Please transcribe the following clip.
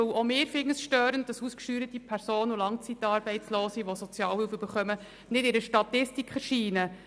Auch wir finden es störend, dass ausgesteuerte Personen und sozialhilfebeziehende Langzeitarbeitslose nicht in einer Statistik erscheinen.